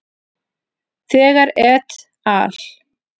Þegar et al.